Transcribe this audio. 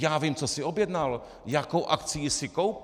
Já vím, co si objednal, jakou akcii si koupil.